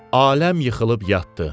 Aləm yıxılıb yatdı.